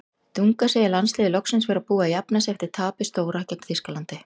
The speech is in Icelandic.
Dunga segir landsliðið loksins vera búið að jafna sig eftir tapið stóra gegn Þýskalandi.